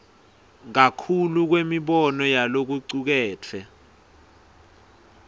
kakhulu kwemibono yalokucuketfwe